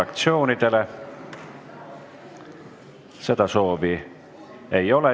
Kõnesoove ei ole.